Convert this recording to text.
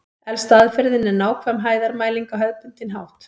Elsta aðferðin er nákvæm hæðarmæling á hefðbundinn hátt.